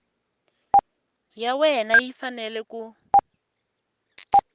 ya wena yi fanele ku